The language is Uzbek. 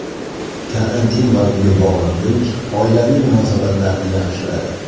Karantin va uyga bog‘liqlik oilaviy munosabatlarni yaxshiladi.